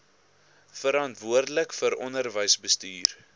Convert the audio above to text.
verantwoordelik vir onderwysbestuur